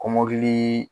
Kɔmɔkili